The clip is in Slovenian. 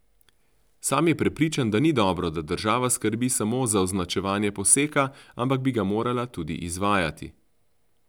Sam je prepričan, da ni dobro, da država skrbi samo za označevanje poseka, ampak bi ga morala tudi izvajati.